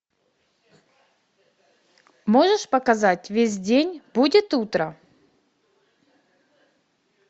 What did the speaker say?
можешь показать весь день будет утро